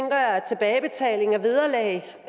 ja